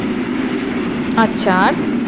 আচ্ছা আর?